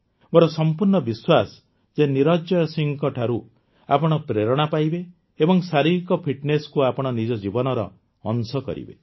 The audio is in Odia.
ମୋର ସଂପୂର୍ଣ୍ଣ ବିଶ୍ୱାସ ଯେ ନିରଞ୍ଜୟ ସିଂହଙ୍କଠାରୁ ଆପଣ ପ୍ରେରଣା ପାଇବେ ଏବଂ ଶାରୀରିକ ଫିଟନେସକୁ ଆପଣ ନିଜ ଜୀବନର ଅଂଶ କରିବେ